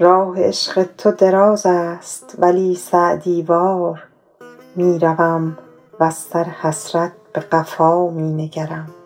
راه عشق تو دراز است ولی سعدی وار می روم وز سر حسرت به قفا می نگرم